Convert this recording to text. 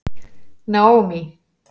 Naomí